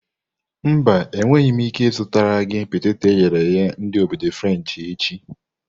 Mba, enweghị m ike ịzụtara gị peteto eghere eghe ndi obodo frenshi echi.